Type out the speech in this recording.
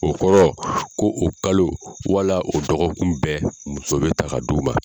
O kɔrɔ ko o kalo wala o dɔgɔkun bɛɛ muso bɛ ta ka d'o ma.